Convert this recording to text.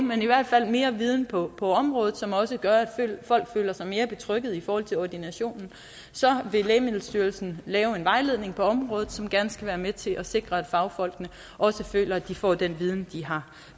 men i hvert fald mere viden på på området som også gør at folk føler sig mere betryggede i forhold til ordinationen så vil lægemiddelstyrelsen lave en vejledning på området som gerne skal være med til at sikre at fagfolkene også føler at de får den viden de har